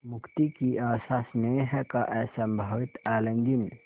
मुक्ति की आशास्नेह का असंभावित आलिंगन